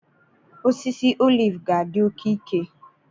Osisi oliv ga-adị oke ike.